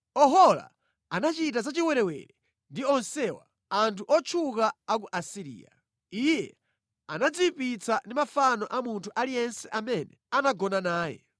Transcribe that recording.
Ohola anachita zachiwerewere ndi onsewa, anthu otchuka a ku Asiriya. Iye anadziyipitsa ndi mafano a munthu aliyense amene anagona naye.